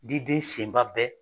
Di den senba bɛɛ